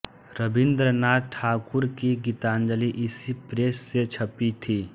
रवीन्द्रनाथ ठाकुर की गीतांजलि इसी प्रेस से छपी थी